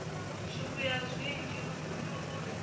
zwivhuya zwinzhi lufuno u ri